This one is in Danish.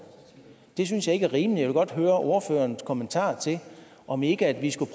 det synes jeg ikke er rimeligt og godt høre ordførerens kommentar til om vi ikke skulle